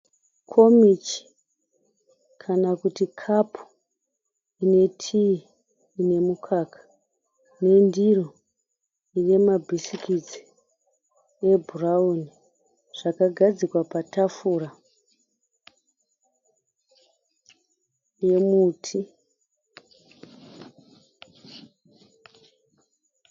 Komichi kana kuti kapu ine tii inemukaka, nendiro inemabhisikitsi ebhurauni zvakagadzikwa patafura yemuti.